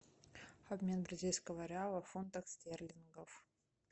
обмен бразильского реала в фунтах стерлингов